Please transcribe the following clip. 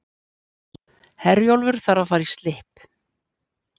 Herjólfur þarf að fara í slipp